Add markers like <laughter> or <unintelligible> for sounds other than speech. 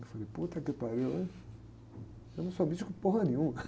Eu falei, <unintelligible> que o pariu, ein? Eu não sou místico <unintelligible> nenhuma.